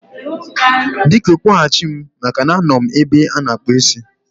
Biko, kpọghachi m maka na anọ m n'ebe ana-akpụ ísí